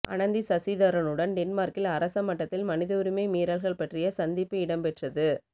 அனந்தி சசிதரனுடன் டென்மார்க்கில் அரச மட்டத்தில் மனிதவுரிமை மீறல்கள் பற்றிய சந்திப்பு இடம்பெற்றது